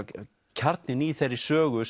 kjarninn í þeirri sögu